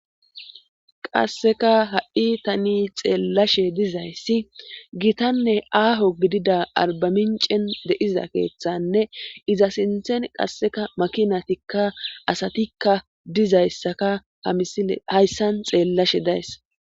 qasseka ha7i tani xeellashe dizayssi gitanne aaho gidida arbamincen de'iza keeththanne iza sinthen qasseka makinatikka asatikka dizayssaka hayssan xeellashe days